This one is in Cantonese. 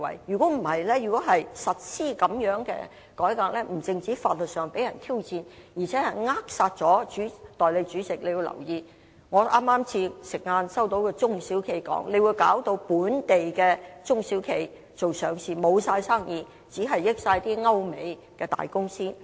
相反，如要實施這樣的改革，不單在法律上會被人挑戰，更扼殺了......代理主席，你要留意，我剛在午飯時間聽到一個中小企老闆說，這建議會導致本地做上市的中小企，完全沒有生意，只能惠及歐美的大公司。